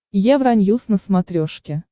евроньюс на смотрешке